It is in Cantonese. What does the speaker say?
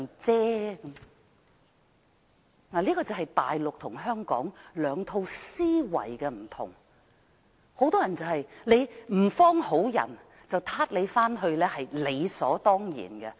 這就是大陸與香港兩套思維的分別，很多人認為如某人不是甚麼好人，被抓回去也是理所當然的。